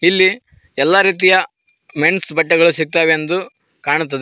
ಇಲ್ಲಿ ಎಲ್ಲಾ ರೀತಿಯ ಮೆನ್ಸ್ ಬಟ್ಟೆಗಳು ಸಿಗ್ತಾವೆಂದು ಕಾಣುತ್ತದೆ.